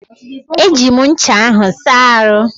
Eji m ncha ahụ saa ahụ́.